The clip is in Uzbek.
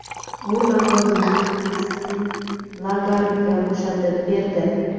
U lavozimini Kristin Lagardga bo‘shatib berdi.